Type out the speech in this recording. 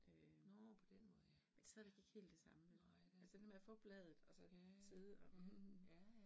Øh men det stadigvæk ikke helt det samme vel. Altså det der med at få bladet og så sidde og hm